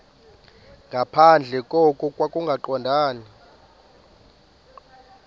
nangaphandle koko kungaqondani